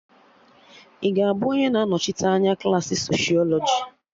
Ị ga-abụ onye na anochite anya klaasị socịọlọjị?